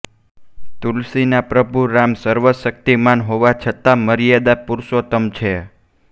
તુલસી ના પ્રભુ રામ સર્વશક્તિમાન હોવા છતાં મર્યાદા પુરુષોત્તમ છે